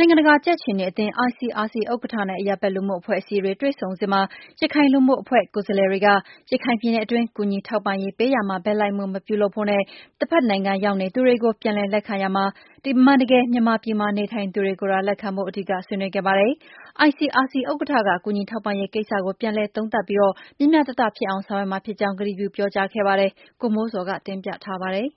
နိုင်ငံတကာ ကြက်ခြေနီအသင်း ICRC ဥက္ကဋ္ဌနဲ့ အရပ်ဘက်လူမှုအဖွဲ့အစည်းတွေ တွေ့ဆုံ စဉ်မှာ ရခိုင်လူမှုအဖွဲ့ ကိုယ်စားလှယ်တွေက ရခိုင်ပြည်နယ်အတွင်း ကူညီထောက်ပံ့ပေး ရာမှာ ဘက်လိုက်မှုမပြုဖို့နဲ့ တဘက်နိုင်ငံ ရောက်နေသူတွေကို ပြန်လည်လက်ခံရာမှာ အမှန်တကယ် မြန်မာပြည်မှာ နေထိုင်သူတွေကိုသာ လက်ခံဖို့ အဓိက ဆွေးနွေးခဲ့ပါတယ်။ ICRC ဥက္ကဋ္ဌက ကူညီထောက်ပံရေးကိစ္စကို ပြန်လည်သုံးသပ်ပြီး မျှမျှတတ ဖြစ်အောင် ဆောင်ရွက်မှာဖြစ်ကြောင်း ကတိပြုပြောကြားခဲ့ပါတယ်။ ဗွီအိုအေမြန်မာပိုင်း သတင်းထောက် ကိုမိုးဇော်က တင်ပြထားပါတယ်။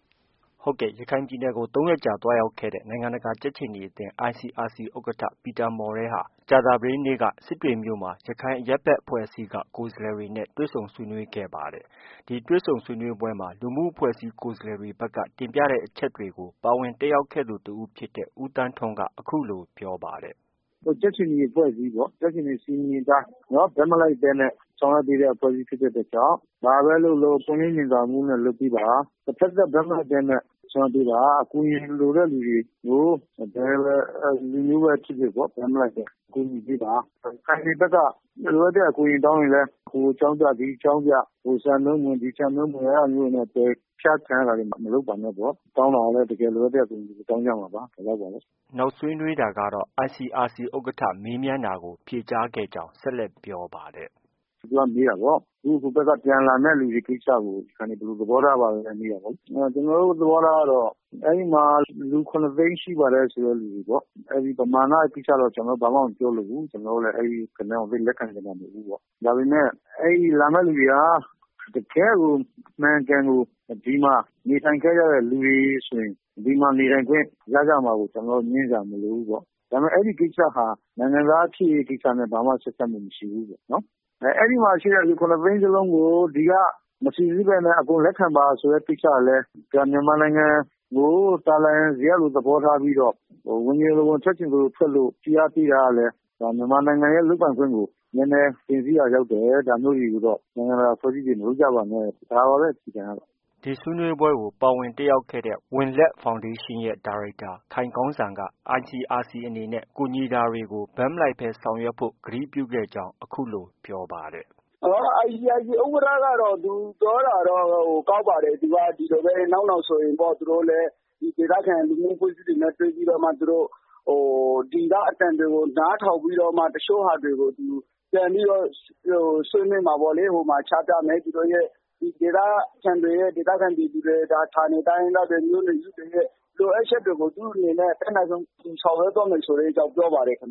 ရခိုင်ပြည်နယ်ကို ၃ ရက်ကြာသွားရောက်ခဲ့တဲ့ နိုင်ငံတကာ ကြက်ခြေနီအသင်း ICRC ဥက္ကဋ္ဌ ပီတာမော်ရဲဟာ ကြာသပတေးနေ့က စစ်တွေမြို့၊ ရခိုင်အရပ်ဘက်အဖွဲ့အစည်းက ကိုယ်စားလှယ်တွေနဲ့ တွေ့ဆုံဆွေးနွေးခဲ့တာ ဖြစ်ပါတယ်။ ဒီတွေ့ဆုံပွဲမှာ လူမှုအဖွဲ့အစည်း ကိုယ်စားလှယ်တွေဘက်က တင်ပြတဲ့အချက်တွေကို ပါဝင် တက်ရောက်ခဲ့သူ တဦးဖြစ်တဲ့ ဦးသန်းထွန်းက အခုလို ပြောပါတယ်။ “ကြက်ခြေနီအဖွဲ့အစည်းပေါ့။ ကြက်ခြေနီစည်းမျဉ်းအတိုင်း ဘက်မလိုက်ဘဲ ဆောင်ရွက် ပေးတဲ့ အဖွဲ့အစည်း ဖြစ်တဲ့ အတွက်ကြောင့် ဘာပဲလုပ်လုပ်ပွင့်လင်းမြင်သာမှုနဲ့ လုပ်ပေး ပါ။ တဘက်သတ်ဘက်မလိုက်ဘဲနဲ့ ဆောင်ရွက် ပေးပါ။ အကူအညီလိုတဲ့လူတွေကို ဘယ်လူမျိုးပဲဖြစ်ဖြစ်ပေါ့ ဘက်မလိုက်ဘဲ ကူညီပေးပါ။ ရခိုင်တွေ ဘက်က လိုအပ်တဲ့ အကူအညီတောင်းရင်လည်း ဟိုအကြောင်းပြ ဒီအကြောင်းပြ ဟိုစံနှုန်းမဝင်၊ ဒီစံနှုန်းမဝင်နဲ့ အဲဒါမျိုးတွေနဲ့ ပယ်ချခံရတာတွေ မလုပ်ပါနဲ့ပေါ့။ တောင်းတာကလည်း တကယ်လိုအပ်တဲ့ အကူအညီတွေ တောင်းကြမှာပါ။ ” နောက်ဆွေးနွေးတာကတော့ ICRC ဥက္ကဋ္ဌ မေးမြန်းတာကို ဖြေကြားခဲ့ကြောင်း ဆက် လက် ပြောပါတယ်။ “သူက မေးတာပေါ့။ ဟိုဘက်က ပြန်လာမယ့်သူတွေအပေါ် ရခိုင်တွေ ဘယ်လို သဘော ထားပါသလဲပေါ့။ ကျနော်တို့ သဘောထားကတော့ အဲဒီမှာ လူ ၇ သိန်း ရှိပါတယ် ဆိုတဲ့ လူတွေပေါ့။ ပမာဏကိစ္စတော့ ဘာမှ မပြောလိုဘူး။ ကျနော်တို့လည်း အဲဒီဂဏန်းကို လက်ခံတာမဟုတ်ဘူးပေါ့။ အဲဒီလာမယ့်သူတွေဟာ တကယ့်ကို ဒီမှာ အမှန်အကန် နေထိုင်ခဲ့ကြတဲ့လူတွေဆိုရင် ဒီမှာ နေထိုင်ခွင့်ရကြမှာကို ကျနော်တို့ ငြင်းစရာမလိုဘူးပေါ့။ ဒါပေမဲ့ အဲဒီကိစ္စဟာ နိုင်ငံသားဖြစ်ရေးကိစ္စနဲ့ ဘာမှ ဆက်စပ်မှုမရှိဘူးပေါ့။ အဲဒီမှာ ရှိတဲ့ လူ ၇ သိန်းစလုံးကို ဒီက မစိစစ်ဘဲနဲ့ အကုန်လက်ခံပါဆိုတဲ့ ကိစ္စကလည်း ဒါ မြန်မာနိုင်ငံ ကို သာလာယံဇရပ်လို သဘောထားပြီးတော့ ဝင်ချင်သလိုဝင်၊ ထွက်ချင်သလိုထွက်လို့ ဖိအားပေးတာကလည်း ဒါမြန်မာနိုင်ငံရဲ့လုပ်ပိုင်ခွင့်ကို နည်းနည်း တင်စီးရာ ရောက်တယ်။ ဒါမျိုးတွေကိုတော့ နိုင်ငံတကာအဖွဲ့အစည်းတွေ မလုပ်ကြပါနဲ့၊ ဒါပါပဲ အခြေခံကတော့။” ဒီဆွေးနွေးပွဲကို ပါဝင်တက်ရောက်ခဲ့တဲ့ ဝံလက်ဖောင်ဒေးရှင်းရဲ့ ဒါရိုက်တာ ခိုင်ကောင်းစံက ICRC အနေနဲ့ ကူညီ တာတွေကို ဘက်မလိုက်ဘဲ ဆောင်ရွက်ဖို့ ကတိပြုခဲ့ကြောင်း အခုလို ပြောပါတယ်။ “ ICRC ဥက္ကဋ္ဌကတော့ သူပြောတာတော့ ကောင်းပါတယ်။ နောက်နောင်ဆိုရင် သူတို့ လည်း ဒေသခံ လူမှုအဖွဲ့ အစည်းတွေနဲ့တွေ့ပြီးတော့မှ သူတို့ ဒီက အသံတွေကို နားထောင်ပြီးတော့မှ တချို့ဟာတွေကို သူ ပြန်ပြီးတော့ ဆွေးနွေးမှာပေါ့လေ။ ဟိုမှာ ချပြမယ်။ ဒေသခံပြည်သူတွေ၊ ဌာနေတိုင်းရင်းသားတွေရဲ့ လိုအပ်ချက်တွေကို သူ့ အနေနဲ့ အတတ်နိုင်ဆုံး ဆောင်ရွက်သွားမယ်ဆိုတဲ့အကြောင်း ပြောပါတယ်။”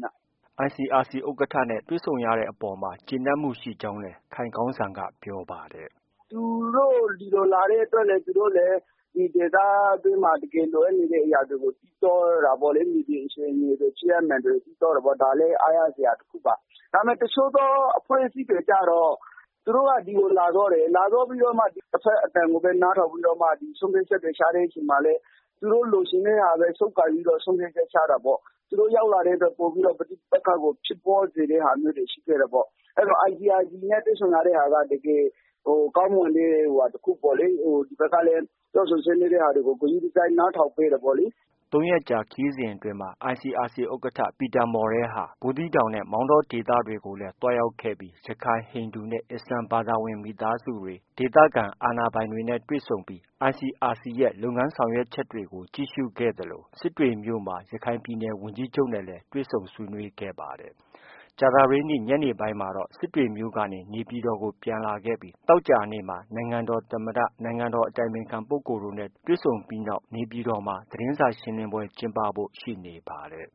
ICRC ဥက္ကဋ္ဌနဲ့ တွေ့ဆုံရတဲ့အပေါ်မှာ ကျေနပ်မှုရှိကြောင်းလည်း ခိုင်ကောင်းစံက ပြောပါ တယ်။ “သူတို့ ဒီကိုလာတဲ့အတွက် သူတို့လည်း ဒီဒေသအတွင်းမှာ တကယ်လိုအပ်နေတဲ့ အရာတွေကို သိသွားတာပေါ့ လေ။ မြေပြင်အခြေအနေတွေ ဖြစ်ရပ်မှန်တွေ သိသွား တာပေါ့။ ဒါလည်း အားရစရာတခုပါ။ ဒါပေမဲ့ တချို့သော အဖွဲ့အစည်းတွေကျတော့ သူ တို့က ဒီကိုလာသွားတယ်။ လာသွားပြီးတော့ တဘက်အသံကိုပဲ နားထောင်ပြီး တော့မှ ဆုံးဖြတ်ချက်တွေ ချတဲ့အချိန်မှာလည်း သူတို့ လိုချင်တဲ့ဟာပဲ ဆုပ်ကိုင်ပြီးတော့ ဆုံးဖြတ် ချက် ချတာ ပေါ့။ သူတို့ ရောက်လာပြီးတော့ ပဋိပက္ခကို ပိုပြီးဖြစ်ပွားစေတာတွေ ရှိခဲ့တယ် ပေါ့။ အဲတော့ ICRC နဲ့ တွေ့ဆုံရတဲ့ ဟာက တကယ် ကောင်းမွန်တဲ့ဟာ တခုပေါ့လေ။ ဒီ ဘက်ကလည်း ပြောဆိုဆွေးနွေးတဲ့ဟာတွေကို ဂရုတစိုက် နားထောင်ပေးတယ်ပေါ့လေ။ ” ၃ ရက်ကြာ ခရီးစဉ်အတွင်းမှာ ICRC ဥက္ကာ ပီတာမော်ရဲဟာ ဘူးသီးတောင်နဲ့ မောင်းတော ဒေသတွေကိုလည်း သွားရောက်ခဲ့ပြီး ရခိုင်၊ ဟိန္ဒူနဲ့ အစ္စလာမ်ဘာသာဝင် မိသားစုတွေ ၊ဒေသခံအာဏာပိုင်တွေနဲ့ တွေ့ဆုံပြီးICRC ရဲ့ လုပ်ငန်းဆောင်ရွက်ချက်တွေ ကို ကြည့်ရှုခဲ့သလို စစ်တွေမြို့မှာ ရခိုင်ပြည်နယ်ဝန်ကြီးချုပ်နဲ့လည်း တွေ့ဆုံ ဆွေးနွေး ခဲ့ပါတယ်။ ကြာသပတေးနေ့ ညနေပိုင်းမှာ စစ်တွေမြို့ကနေ နေပြည်တော်ကိုပြန်လာခဲ့ပြီး သောကြာနေ့မှာတော့ နိုင်ငံ တော် သမ္မတ၊ နိုင်ငံတော်အတိုင်ပင်ခံပုဂ္ဂိုလ်တို့နဲ့တွေ့ဆုံပြီး နေပြည်တော်မှာ သတင်းစာရှင်းလင်းဖို့ ရှိနေပါတယ်။